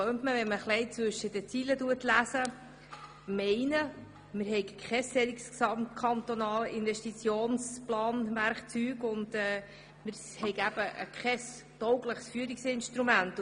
» Wenn man zwischen den Zeilen liest, könnte man meinen, wir hätten noch kein taugliches Führungsinstrument.